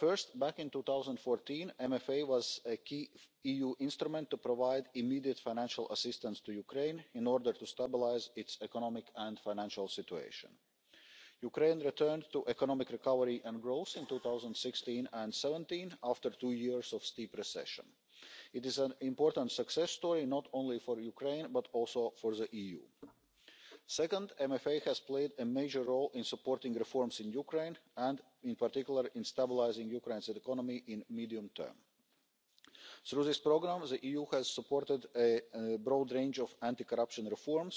First, back in 2014, the MFA was a key EU instrument to provide immediate financial assistance to Ukraine in order to stabilise its economic and financial situation. Ukraine returned to economic recovery and growth in 2016 and 2017, after two years of steep recession. It is an important success story, not only for Ukraine, but also for the EU. Second, the MFA has played a major role in supporting reforms in Ukraine and, in particular, in stabilising Ukraine's economy in the medium term. Through this programme, the EU has supported a broad range of anti corruption reforms,